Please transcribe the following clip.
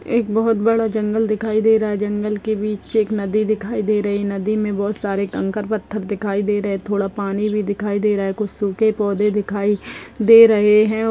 एक बहोत बड़ा जंगल दिखाई दे रहा है जंगल के बीच एक नदी दिखाई दे रही है नदी में बहोत सारे कंकर पत्थर दिखाई दे रहे है थोड़ा पानी भी दिखाई दे रहा हैं कुछ सूखे पौधे दिखाई दे रहे हैं। अउ--